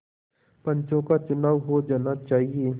पंचों का चुनाव हो जाना चाहिए